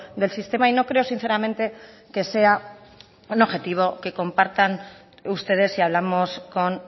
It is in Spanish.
del sistema y no creo sinceramente que sea un objetivo que compartan ustedes si hablamos con